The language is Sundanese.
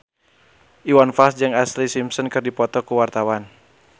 Iwan Fals jeung Ashlee Simpson keur dipoto ku wartawan